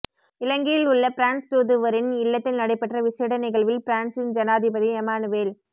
இலங்கையில் உள்ள பிரான்ஸ் தூதுவரின் இல்லத்தில் நடைபெற்ற விசேட நிகழ்வில் பிரான்ஸின் ஜனாதிபதி எம்மானுவெல்